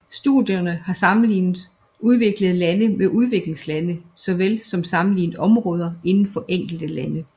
Studierne har sammenlignet udviklede lande med udviklingslande såvel som sammenlignet områder inden for enkelte lande